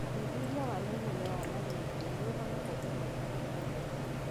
ũthuthuria wa naihenya wa malaria nĩũhonokagia maisha matũrainĩ.